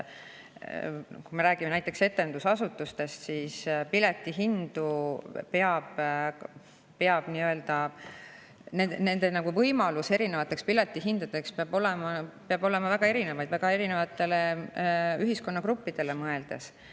Kui me räägime näiteks etendusasutustest, siis piletihindade puhul peab olema väga erinevaid võimalusi, väga erinevatele ühiskonnagruppidele mõeldes.